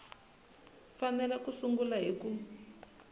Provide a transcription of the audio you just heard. fanele ku sungula hi ku